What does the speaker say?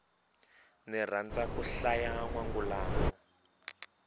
ni rhandza ku hlaya nwangulano